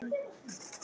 Ég hef öskrað á þig!